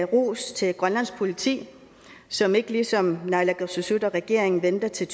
ros til grønlands politi som ikke ligesom naalakkersuisut og regeringen venter til